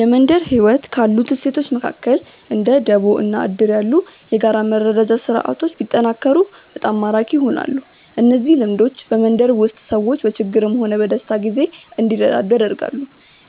የመንደር ህይወት ካሉት እሴቶች መካከል እንደ ደቦ እና እድር ያሉ የጋራ መረዳጃ ስርዓቶች ቢጠናከሩ በጣም ማራኪ ይሆናሉ። እነዚህ ልምዶች በመንደር ውስጥ ሰዎች በችግርም ሆነ በደስታ ጊዜ እንዲረዳዱ ያደርጋሉ።